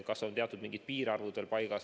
Kas on mingid piirarvud paigas?